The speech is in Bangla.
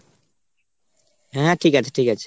হ্যাঁ ঠিক আছে ঠিক আছে।